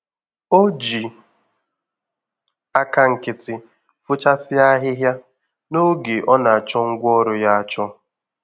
O ji aka nkịtị fochasịa ahịhịa, n'oge ọ nachọ ngwá ọrụ ya achọ